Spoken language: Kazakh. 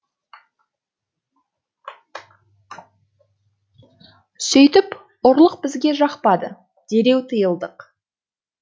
сөйтіп ұрлық бізге жақпады дереу тыйылдық